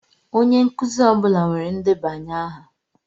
Onye nkuzi ọ bụla nwere ndebanye aha.